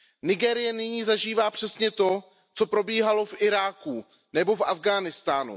Nigérie nyní zažívá přesně to, co probíhalo v Iráku nebo v Afghánistánu.